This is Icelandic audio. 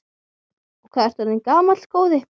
Og hvað ertu orðinn gamall, góði?